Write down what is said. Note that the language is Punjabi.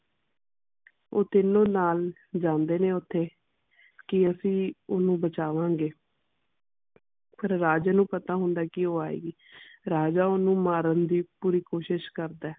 ਓ ਤਿੰਨੋ ਨਾਲ ਜਾਂਦੇ ਨੇ ਓਥੇ ਕਿ ਅਸੀਂ ਓਹਨੂੰ ਬਚਵਾਂਗੇ ਪਰ ਰਾਜੇ ਨੂੰ ਪਤਾ ਹੁੰਦਾ ਕਿ ਓ ਆਏਗੀ ਰਾਜਾ ਓਹਨੂੰ ਮਾਰਨ ਦੀ ਪੂਰੀ ਕੋਸ਼ਿਸ਼ ਕਰਦਾ ਹੈ।